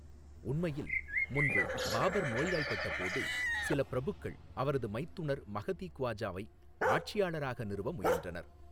உண்மையில், முன்பு, பாபர் நோய்வாய்ப்பட்ட போது, சில பிரபுக்கள் அவரது மைத்துனர் மகதி க்வாஜாவை ஆட்சியாளராக நிறுவ முயன்றனர்.